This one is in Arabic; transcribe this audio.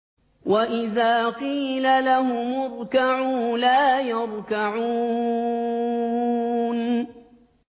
وَإِذَا قِيلَ لَهُمُ ارْكَعُوا لَا يَرْكَعُونَ